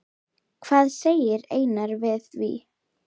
Hvað segir Einar við því?